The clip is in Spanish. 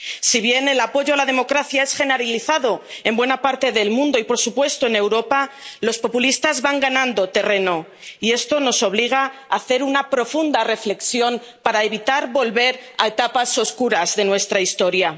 Si bien el apoyo a la democracia es generalizado en buena parte del mundo y, por supuesto, en Europa, los populistas van ganando terreno, y esto nos obliga a hacer una profunda reflexión para evitar volver a etapas oscuras de nuestra historia.